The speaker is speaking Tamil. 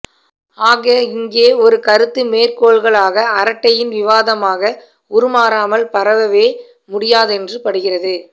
ஆக இங்கே ஒரு கருத்து மேற்கோள்களாக அரட்டையின் விவாதமாக உருமாறாமல் பரவவே முடியாதென்று படுகிறது